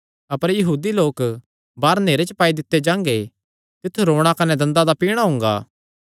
अपर यहूदी लोक बाहर नेहरे च पाई दित्ते जांगे तित्थु रोणा कने दंदा दा पीणा होणा